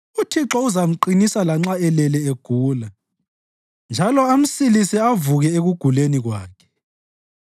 UThixo uzamqinisa lanxa elele egula njalo amsilise avuke ekuguleni kwakhe.